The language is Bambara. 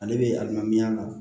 Ale bɛ adamadenya la